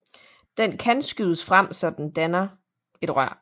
Den kan skydes frem så den danner et rør